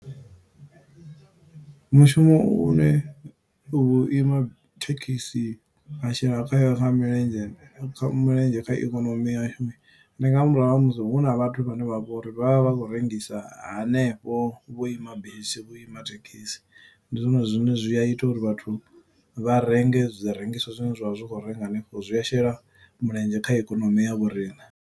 Mushumo une u ima thekhisi ha shela khayo kha milenzhe kha mulenzhe kha ikonomi yashu, ndi nga murahu ha musi hu na vhathu vhane vha vho uri vha vha vha vha khou rengisa hanefho vhuima bisi, vhuima thekhisi. Ndi zwone zwine zwi a ita uri vhathu vha renge zwi rengiswa zwine zwa vha zwi khou renga hanefho. Zwi a shela mulenzhe kha ikonomi ya vhoriṋe.